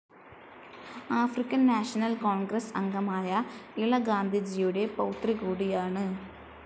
African National Congress അംഗമായ ഇള ഗാന്ധിജിയുടെ പൗത്രി കൂടിയാണ്.